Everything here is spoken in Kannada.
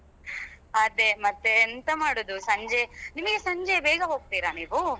ಅದೇ ಮತ್ತೆ ಎಂತ ಮಾಡುದು ಸಂಜೆ ನಿಮಗೆ ಸಂಜೆ ಬೇಗ ಹೋಗ್ತೀರಾ ನೀವು?